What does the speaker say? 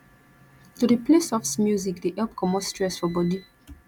to dey play soft music dey help comot stress for bodi